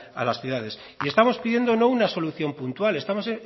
a las ciudades y estamos pidiendo no una solución puntual estamos